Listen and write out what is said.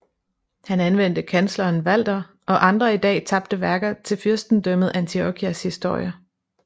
Han anvendte kansleren Walter og andre i dag tabte værker til Fyrstendømmet Antiochias historie